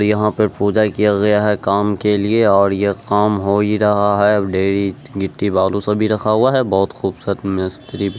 यहाँ पर पूजा किया गया है काम के लिए और यह काम हो ही रहा है गिट्टी बालू सब भी रखा गया है बहुत खूबसूरत मिस्त्री भी --